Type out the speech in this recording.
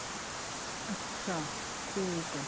ਅੱਛਾ ਠੀਕ ਏ